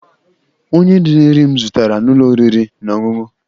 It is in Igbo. Onye riri nri m zụtara n'ụlọ oriri na ọṅụṅụ?